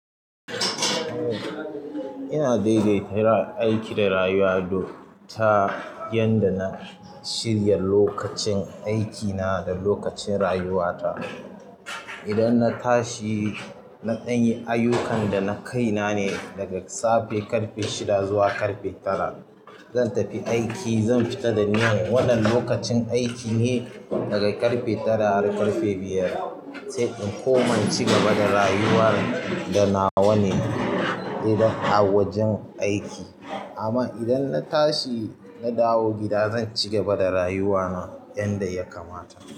Ina daidaita yin aiki da rayuwa ta yadda na shirya lokacin aikina da lokacin rayuwata. Idan na tashi, naɗan yi ayyukan da na kai na ne daga safe ƙarfe shida zuwa ƙarfe tara. Zan tafi aiki, zan fita da niyyar wannan lokacin aiki ne, daga ƙarfe tara har ƙarfe biyar, sai in koma in cigaba da rayuwa da nawa ne idan a wajen aiki. Amma idan na tashi na dawo gida, zan cigaba da rayuwana yanda ya kamata.